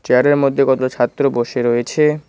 চেয়ারের মধ্যে কত ছাত্র বসে রয়েছে।